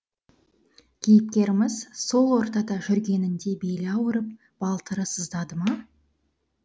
кейіпкеріміз сол ортада жүргенінде белі ауырып балтыры сыздады ма